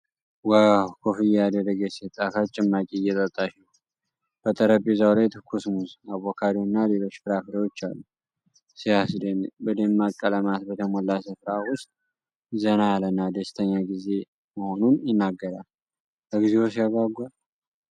ዋው! ኮፍያ ያደረገች ሴት ጣፋጭ ጭማቂ እየጠጣች ነው። በጠረጴዛው ላይ ትኩስ ሙዝ፣ አቮካዶና ሌሎች ፍራፍሬዎች አሉ። ሲያስደንቅ! በደማቅ ቀለማት በተሞላ ስፍራ ውስጥ፣ ዘና ያለና ደስተኛ ጊዜ መሆኑን ይናገራል። እግዚኦ ሲያጓጓ!